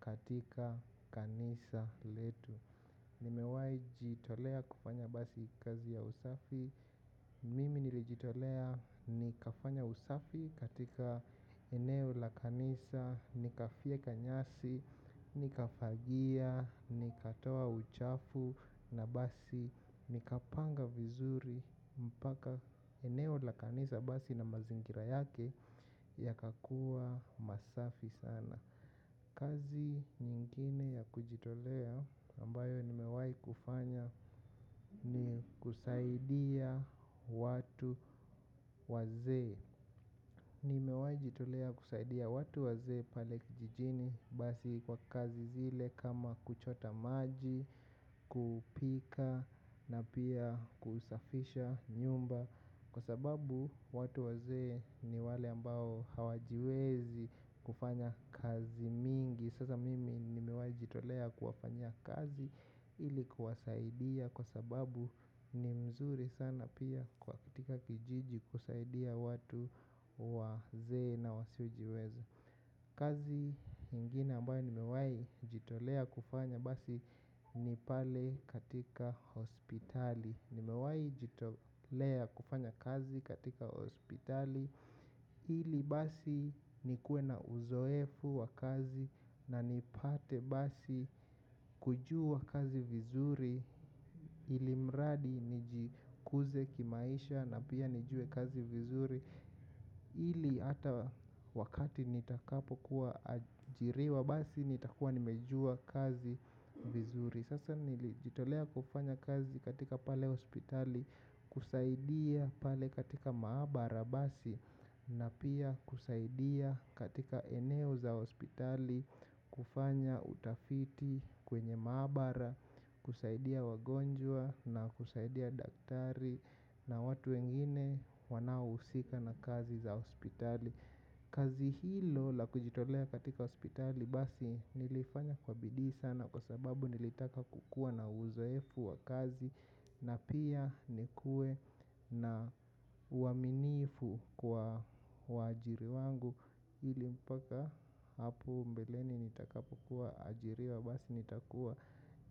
katika kanisa letu. Nimewai kujitolea kufanya basi kazi ya usafi. Mimi nilijitolea nikafanya usafi katika eneo la kanisa. Nikavyeka nyasi, nikafagia, nikatoa uchafu. Na basi nikapanga vizuri mpaka eneo la kanisa basi na mazingira yake. Ya kakua masafi sana. Kazi nyingine ya kujitolea ambayo nimewai kufanya ni kusaidia watu wazee. Nimewajitolea kusaidia watu wazee pale kijijini basi kwa kazi zile kama kuchota maji, kupika na pia kusafisha nyumba. Kwa sababu watu wazee ni wale ambao hawajiwezi kufanya kazi mingi. Sasa mimi nimewai jitolea kuwafanya kazi ilikuwasaidia kwa sababu ni mzuri sana pia kwa katika kijiji kusaidia watu wazee na wasio jiweza kazi nyingine ambayo nimewai jitolea basi ni pale katika hospitali nimewai jitolea kufanya kazi katika hospitali nikuwe na uzoefu wa kazi na nipate basi kujua kazi vizuri. Ili mradi nijikuze kimaisha na pia nijue kazi vizuri. Ili hata wakati nitakapo kuwa ajiriwa basi nitakua nimejua kazi vizuri. Sasa nilijitolea kufanya kazi katika pale hospitali kusaidia pale katika maabara basi. Na pia kusaidia katika eneo za hospitali kufanya utafiti kwenye maabara kusaidia wagonjwa na kusaidia daktari na watu wengine wanao usika na kazi za hospitali. Kazi hilo la kujitolea katika hospitali basi nilifanya kwabidi sana kwa sababu nilitaka kukua na uzoefu wa kazi na pia nikuwe na uaminifu kwa wajiri wangu ili mpaka hapo mbeleni nitakapo kuwa ajiriwa basi nitakuwa